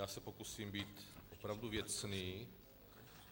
Já se pokusím být opravdu věcný.